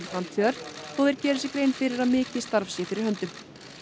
framtíðar þó þeir geri sér grein fyrir að mikið starf sé fyrir höndum